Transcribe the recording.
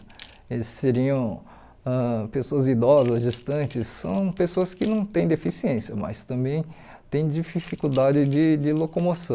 Eles seriam ãh pessoas idosas, gestantes, são pessoas que não têm deficiência, mas também têm dificuldade de de locomoção.